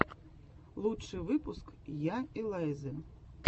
лучший выпуск я элайзы